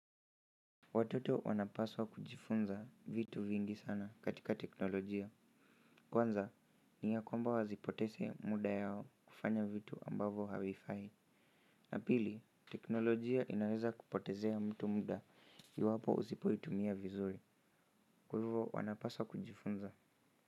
Watoto wanapaswa kujifunza vitu vingi sana katika teknolojia. Kwanza, ni yakwamba wasipoteze muda yao kufanya vitu ambavo havifai. Ya pili teknolojia inaweza kupotezea mtu muda iwapo usipo itumia vizuri kwa hivo wanapaswa kujifunza.